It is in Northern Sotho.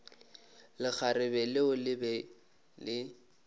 lekgarebe leo le be le